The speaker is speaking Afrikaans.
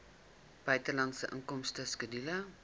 buitelandse inkomste skedule